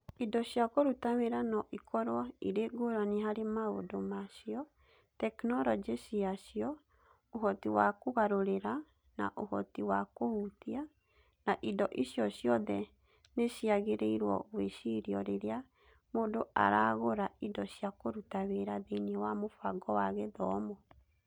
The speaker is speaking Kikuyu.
Indo cia kũruta wĩra no ikorũo irĩ ngũrani harĩ maũndũ ma cio, tekinolonjĩ ciacio, ũhoti wa kũgarũrĩra, na ũhoti wa kũhutia, na indo icio ciothe nĩ ciagĩrĩirũo gwĩcirio rĩrĩa mũndũ aragũra indo cia kũruta wĩra thĩinĩ wa mũbango wa gĩthomo.